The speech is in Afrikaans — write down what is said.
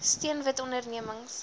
steun wit ondernemings